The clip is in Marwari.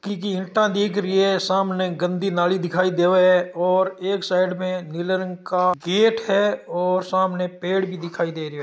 ईंटा दिखाई दे री है सामे गन्दी नाली दिखाई देवे है और एक साइड में नील रंग का गेट है और सामने पेड़ भी दिखाई दे रहे है।